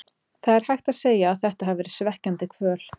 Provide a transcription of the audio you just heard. Það er hægt að segja að þetta hafi verið svekkjandi kvöld.